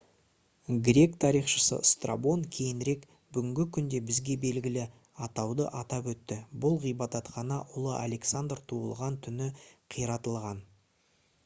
грек тарихшысы страбон кейінірек бүгінгі күнде бізге белгілі атауды атап өтті бұл ғибадатхана ұлы александр туылған түні қиратылған